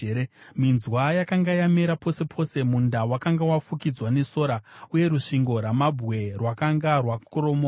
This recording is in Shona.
minzwa yakanga yamera pose pose, munda wakanga wafukidzwa nesora, uye rusvingo rwamabwe rwakanga rwakoromoka.